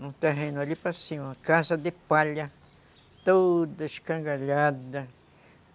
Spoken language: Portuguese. num terreno ali para cima, uma casa de palha, toda escangalhada.